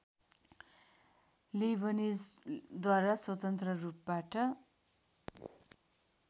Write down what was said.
लेइबनिजद्वारा स्वतन्त्र रूपबाट